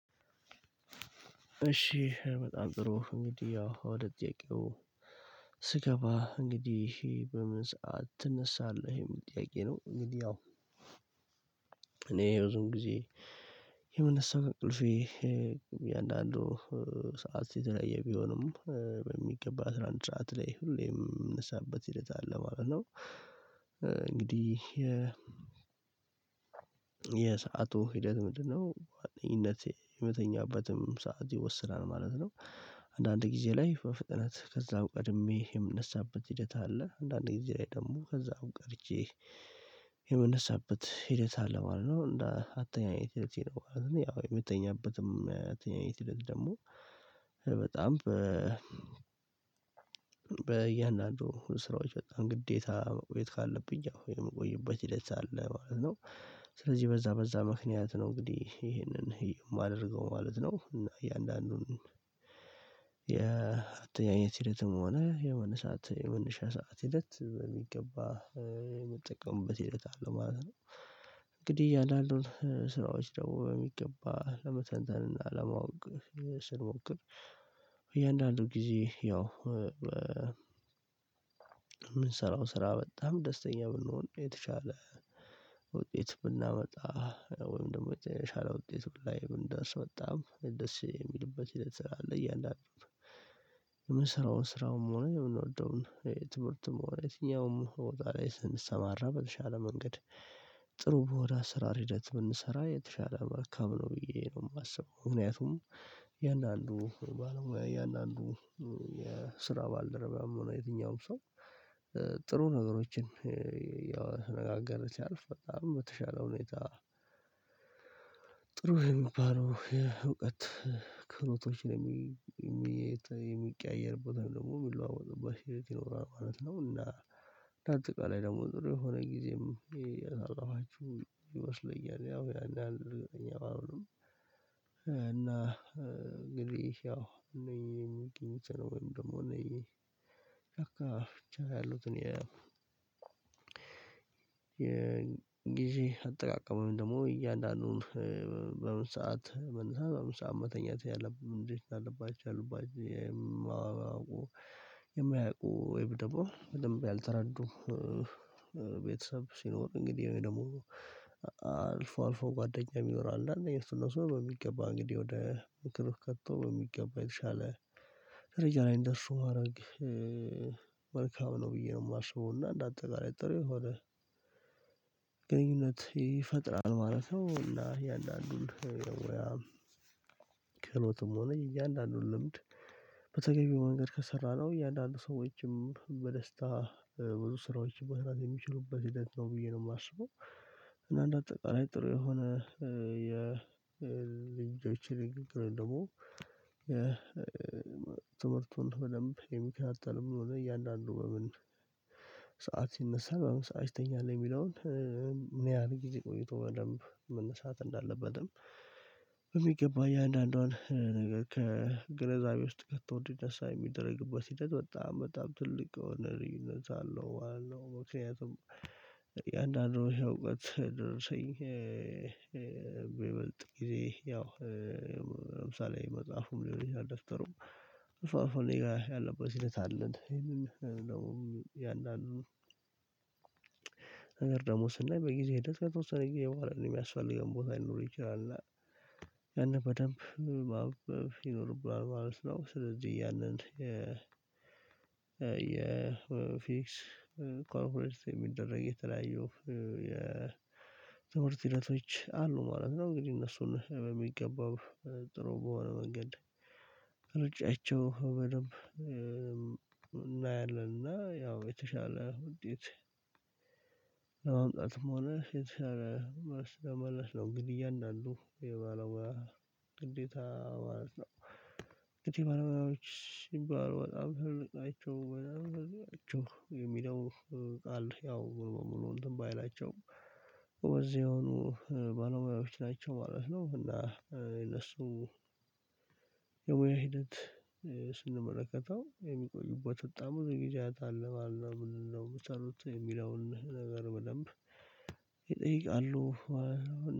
እሺ በጣም ጥሩ እንግዲህ ያው ወደ ጥያቄው ስገባ እንግዲህ ይሄ በምን ሰዓት ትነሳለህ ይሄም ጥያቄ ነው? እንግዲህ እኔ ይሄ ብዙ ጊዜ የሆነ ሰዓት ቅልፌ የአንዳንዱ ሰዓት ሲተለየ ቢሆንም በሚገባ ትራንትራት ላይ ሁሌም የምንሰራበት ሂደት አለ ማለት ነው። እንግዲህ የ የሰአቱ ሂደት ምንድነው ዋናዬ የምተኛበትም ሰዓት ይወስናል ማለት ነው። አንዳንድ ጊዜ ላይ በፍጥነት ከዛም ቀድሜ የምነሳበት ሂደት አለ አንዳንዴ ጊዜ ላይ ደግሞ ከዛም ቀርቼ የምነሳበት ሂደት አለ ማለት ነው። እንደ አተኛኘት ልትሄድ ነው ያው የምትተኛበትም አተኛኘት ልትሄድ ደግሞ በጣም በያንዳንዱ ስራዎች በጣም ግዴታ መቆየት ካለብኝ ያው የምቆይበት ሂደት አለ ማለት ነው። ስለዚህ በዛ በዛ ምክንያት ነው እንግዲህ ይሄንን የማደርገው ማለት ነው። እና እያንዳንዱን የአተኛኘት ሂደትም ሆነ የመነሻ ሰዓት ሂደት በሚገባ የምትጠቀሙበት ሂደት አለ ማለት ነው። እንግዲህ ያን አሉን ስራዎች ደግሞ በሚገባ ለመተንተን እና ለማወቅ ስንሞክር እያንዳንዱ ጊዜ ያው የምንሰራው ስራ በጣም ደስተኛ ብንሆን የተሻለ ውጤት ብናመጣ ወይም ደግሞ የተሻለ ውጤት ላይ እንዳስወጣም ደስ የሚልበት የለት ስራ አለ እያለ አለ። የምሰራውን ስራውም ሆነ የምንወደውን ትምህርትም ወይ የትኛውም ወይ ደግሞ ስንሰማራ በተሻለ መንገድ ጥሩ ወደ አሰራር ሂደት ብንሠራ የተሻለ መልካም ነው ብዬ ነው የማስበው። ምክንያቱም የአንዳንዱ የአንዳንዱ የስራ ባልደረባም ሆነ የትኛውም ሰው ጥሩ ነገሮችን ያው ተነጋገረ ይችላል በጣም የተሻለው ሁኔታ ጥሩ የሚባለው የእውቀት ክህሎቶች የሚቀያየር ቦታ ደግሞ የሚለዋወጥበት ይኖራል ማለት ነው። እና በአጠቃላይ ደግሞ ጥሩ የሆነ ጊዜም የታላችሁ ይመስለኛል ያው ያን ያን እኔ አሁን እና እንግዲህ ያው እኔ የሚገኝት ነው ወይም ደግሞ እኔ ቻካ ብቻ ነው። ያሉት እኔ የጊዜ ጊዜ አጠቃቀመው ወይም ደግሞ እያንዳንዱን በምን ሰዓት መንሣት በምን ሰዓት መተኛት ያለብን እንጂ አለባቸው አሉባቸው። የማያውቁ ወይም ደግሞ በደንብ ያልተረዱ ቤተሰብ ሲኖር እንግዲህ ወይ ደግሞ አልፎ አልፎ ጓደኛም ይኖራል እና እነዚህ ሱሎሶ በሚገባ እንግዲህ ወደ ምክር ከቶ በሚገባ የተሻለ ደረጃ ላይ እንደሱ ማድረግ መልካም ነው ብዬ ነው የማስበው። እና እንደ አጠቃላይ ጥሬ ሆነ ግንኙነት ይፈጥራል ማለት ነው። እያንዳንዱን ያው ያው ክህሎትም ሆነ እያንዳንዱን ልምድ በተገቢው መንገድ ከሠራነው እያንዳንዱ ሰዎችም በደስታ ብዙ ስራዎች መስራት የሚችሉበት ሂደት ነው ብዬ ነው የማስበው። እና እንደ አጠቃላይ ጥሩ የሆነ የልጆችን ደግሞ ትምህርቱን በደንብ የሚከታተለው ምን እያልን አለው በምን ሰዓት ሲነሣ በምን ሰዓት ይተኛል? የሚለውን ምን ያህል ጊዜ ቆይቶ በደንብ መነሳት እንዳለበትም የሚገባ እያንዳንዷን ከግንዛቤ ውስጥ ከቶ እንዲደርስ የሚደርግበት ሂደት በጣም በጣም ትልቅ የሆነ ልዩነት አለው አለው። ምክንያቱም የአንዳንድ ወሽታ እውቀት ደርሰኝ በበልጥ ጊዜ ያው ለምሳሌ መጽሐፉም ሊሆን ይችላል ደስተሩም እሷ እሷ እኔ ጋር ያለበት ሂደት አለን ይሄንን ያንዳንዱን ነገር ደግሞ ስናይ በጊዜ ሂደት ከተወሰነ ጊዜ በኋላ ነው የሚያስፈልገን ቦታ ሊኖር ይችላል እና ያንን በደንብ ይኖርብሃል ማለት ነው። ስለዚህ ያንን የ የፊክስ ኮንፊደንስ የሚደረግ የተለያዩ የትምህርት ሂደቶች አሉ ማለት ነው። እንግዲህ እነሱን በሚገባው ጥሩ በሆነ መንገድ ሩጫቸው በደንብ እናያለን። እና ያው የተሻለ ውድድር ለመምጣትም ሆነ መመለስ ነው ግድያ እንዳሉ የባለወር ግዴታ ማለት ነው። ትቲቭ መርመራዎች ይባላሉ በጣም አይቼው በጣም አይቼው የሚለው ቃል ያው ሙሉ እንትን ባይላቸውም እዚህ የሆኑ ባለሙያዎች ናቸው ማለት ነው። እና እነሱ የሙያ ሂደት ስንመለከተው የሚቆዩበት በጣም ብዙ ጊዜ የሚታይ አልነበረም ምንድነው? የሚለውን ነገር በደንብ ይጠይቃሉ